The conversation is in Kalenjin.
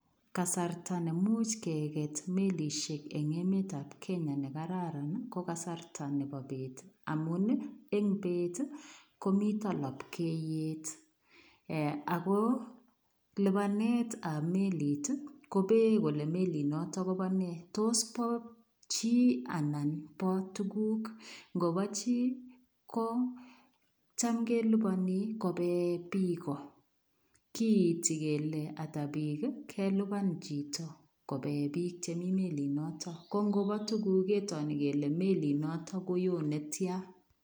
Kasartaa neimuuch kegeet melisheek en emeet ab kenya nekararaan ii ko kasarta nebo bee amuun ii en beet ii komitaa lapkeiyet ako lupaneet ab meliit ii kobeeyeen kole meliit notoon kobaa nee tos bo chii anan bo tuguuk ingo bo chii ko cham kelepanii kopee biik ko kiiti kele ata biik ii kelupjaan chitoo kobeen biik che Mii meliit notoon ko ngo bo biik ketoo kole meliit notoon konyoo ne tyaan.